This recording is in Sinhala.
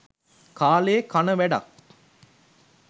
කාලේ කන වැඩක්